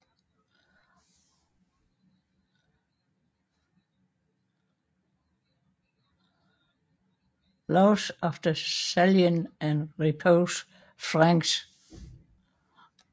Laws of the Salian and Ripuarian Franks